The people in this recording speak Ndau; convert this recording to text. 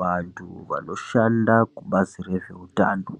Vsntu vanoshanda kubasi rezvehutano,